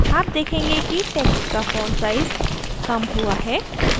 आप देखेंगे कि text का font size कम हुआ है